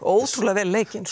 ótrúlega vel leikin